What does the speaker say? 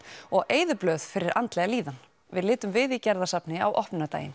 og eyðublöð fyrir andlega líðan við litum við í Gerðarsafni á opnunardaginn